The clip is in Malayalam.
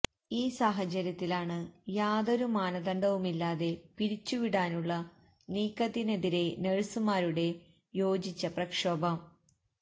ഈ സാഹചര്യത്തിലാണ് യാതൊരു മാനദണ്ഡവുമില്ലാതെ പിരിച്ചുവിടാനുള്ള നീക്കത്തിനെതിരേ നഴ്സുമാരുടെ യോജിച്ച പ്രക്ഷോഭം